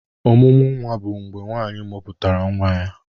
Ọmụmụ nwa bụ mgbe nwaanyị mụputara nwa ya.